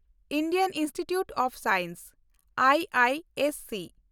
Indian institute of science (IISc)